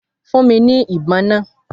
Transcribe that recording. Fún mi ní ibon náà!